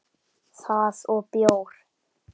Það og bjór.